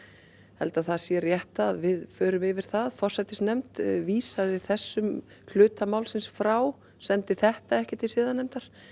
held að það sé rétt að við förum yfir það forsætisnefnd vísaði þessum hluta málsins frá sendi þetta ekki til siðanefndar